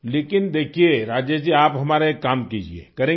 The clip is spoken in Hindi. लेकिन देखिये राजेश जी आप हमारा एक काम कीजिये करेंगे